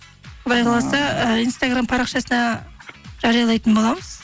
құдай қаласа ы инстаграм парақшасына жариялайтын боламыз